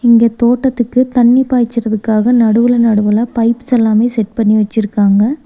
இங்க தோட்டத்துக்கு தண்ணி பாய்ச்சிரதுக்காக நடுவுல நடுவுல பைப்ஸ் எல்லாமே செட் பண்ணி வச்சிருக்காங்க.